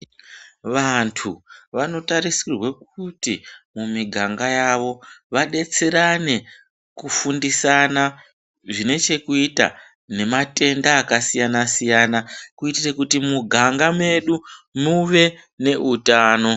Vanthu vanotarisirwe kuti mumiganga yavo vadetserane kufundisana zvine chekuita nematenda akasiyana -siyana kuitire kuti mumiganga medu muve neutano.